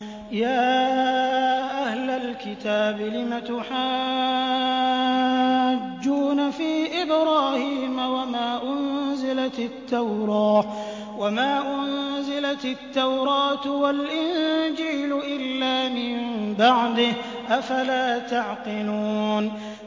يَا أَهْلَ الْكِتَابِ لِمَ تُحَاجُّونَ فِي إِبْرَاهِيمَ وَمَا أُنزِلَتِ التَّوْرَاةُ وَالْإِنجِيلُ إِلَّا مِن بَعْدِهِ ۚ أَفَلَا تَعْقِلُونَ